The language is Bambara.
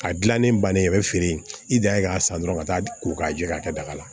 A gilannen bannen a bɛ feere i janɲɛ k'a san dɔrɔn ka taa ko k'a jɛ k'a kɛ daga la